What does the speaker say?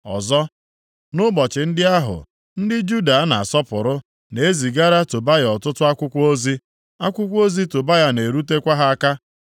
Ọzọ, nʼụbọchị ndị ahụ ndị Juda a na-asọpụrụ na e zigara Tobaya ọtụtụ akwụkwọ ozi, akwụkwọ ozi Tobaya na-erutekwa ha aka.